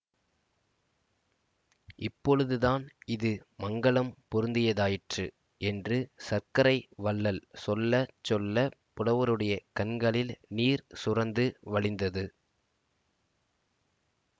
இப்பொழுதுதான் இது மங்கலம் பொருந்தியதாயிற்று என்று சர்க்கரை வள்ளல் சொல்ல சொல்ல புலவருடைய கண்களில் நீர் சுரந்து வழிந்தது